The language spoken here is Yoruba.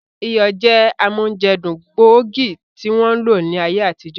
Iyọ̀ jẹ́ amójẹdùn gbóògì tí wọ́n ń lò ní ayé àtijọ́